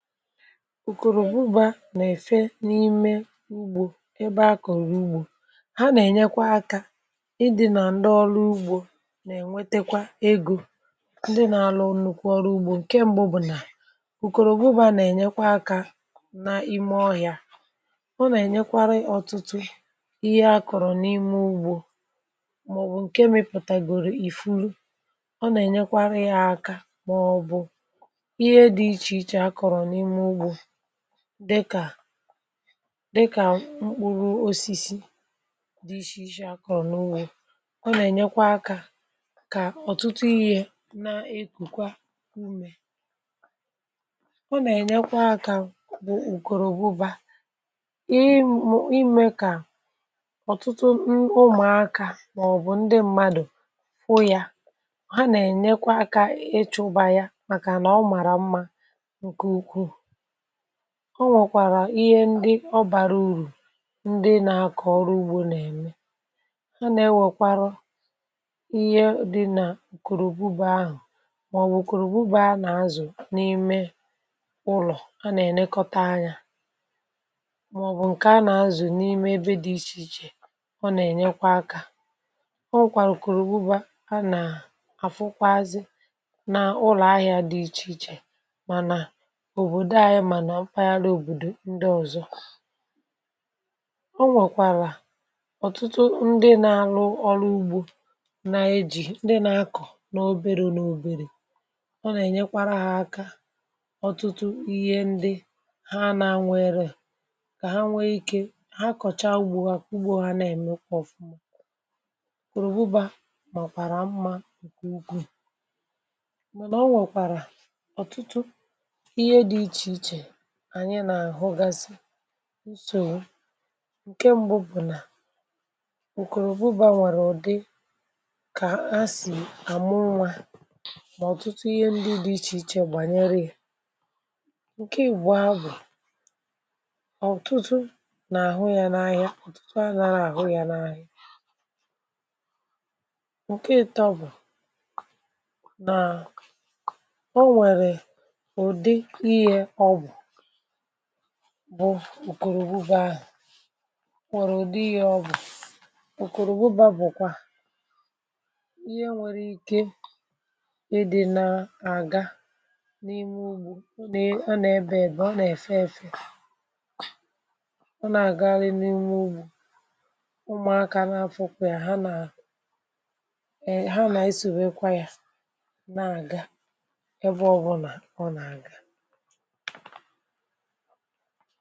Ukòrò ọbụbȧ nà-èfe n’ime ugbȯ ebe akọ̀rọ̀ ugbȯ ha nà-ènyekwa akȧ ịdị nà ndị ọrụ ugbȯ na-ènwetekwa egȯ ndị nà-àlụ nnukwu ọrụ ugbȯ ǹke m̀gbù bụ̀ nà ùkòrò ọbụbȧ nà-ènyekwa akȧ na ime ọhị̀a ọ nà-ènyekwara ọtụtụ ihe akọ̀rọ̀ n’ime ugbȯ màọ̀bụ̀ ǹke mipùtàgòrò ìfuru ọ nà-ènyekwara ihe akȧ maọbụ ihe dị iche iche akpọrọ na ime ugbo dịkà dịkà mkpụrụ osisi dị iche iche akọ̀ n’wu o ọ nà-ènyekwa akȧ kà ọ̀tụtụ ihė na-ekùkwa umè ọ nà-ènyekwa akȧ bụ ụ̀kòròbụba iiiimė kà ọ̀tụtụ ụmụ̀akȧ màọ̀bụ̀ ndị mmadụ̀ fụyà ha nà-ènyekwa akȧ ịchụ̇ba ya màkà nà ọ màrà mmȧ ọ nwèkwàrà ihe ndi ọ bàrà urù ndi na-akọ̀ ọrụ ugbȯ nà-ème ha nà-ewèkwarọ ihe dị nà ǹkèrèbubà ahụ̀ màọbụ̀ kòròbubà a nà-azụ̀ n’ime ụlọ̀ a nà-ènekọta anya màọbụ̀ ǹke a nà-azụ̀ n’ime ebe dị̇ ichè ichè ọ nà-ènyekwa akȧ o nwèkwàrà kòròbubà a nà-àfụkwazi n’ụlọ̀ ahịȧ dị ichè ichè ma na obodo anyi mana mpaghara obodo ndị ọ̀zọ ọ nwèkwàrà ọ̀tụtụ ndị na-alụ ọrụ ugbȯ na-eji, ndị na-akọ̀ n’oberė n’oberè ọ nà-ènyekwara hȧ aka ọ̀tụtụ ihe ndị ha na-anwụ eruo kà ha nwee ike, ha kọ̀chaa ugbȯ ugbo hà nà-ème ụkwọ̇ ọ̀fụma kwùrù bụbà màọ̀kwàrà mmȧ ǹkè ukwuù màọ̀kwàrà ọ̀tụtụ ihe dị ichè ichè anyi na ahụ gasi nsogbụ ǹke mbụ bụ̀ nà ukòrògbubà nwèrè ụ̀dị kà a sì àmụ nwȧ nà ọ̀tụtụ ihe ndị dị̇ ichè ichè gbànyere yȧ ǹke ị̀gba bụ̀ ọ̀tụtụ nà àhụ ya n’ahịa ọ̀tụtụ a nàara àhụ ya n’ahịa ǹke ịtọ bụ̀ nà onwere ụdị ihe ọbụ bụ ùkòrògbu ahụ̀ nwere ùdi ihe ọ bụ̀ ùkòrògbuba bụ kwa ihe nwere ike idi̇ na-àga n’ime ugbȯ nà ọ nà-ebė ebe ọ nà-èfe efe ọ nà-àgaghari n' ime ugbȯ ụmụ̀akȧ n’afọ̇kwȧ ya ha nà ha nà-esȯbeekwa ya na-àga ebe ọbụnà ọ nà-àga a.